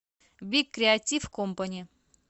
биг креатив компани